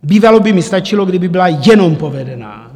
Bývalo by mi stačilo, kdyby byla jenom povedená.